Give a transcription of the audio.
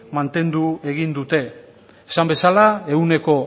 mantendu egin dute esan bezala